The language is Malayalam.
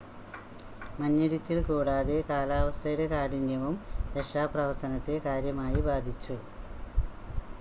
മഞ്ഞിടിച്ചിൽ കൂടാതെ കാലാവസ്ഥയുടെ കാഠിന്യവും രക്ഷാപ്രവർത്തനത്തെ കാര്യമായി ബാധിച്ചു